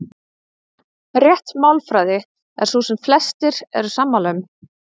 Rétt málfræði er sú sem flestir eru sammála um.